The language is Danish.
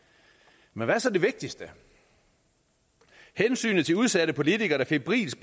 men hvad er så det vigtigste hensynet til udsatte politikere der febrilsk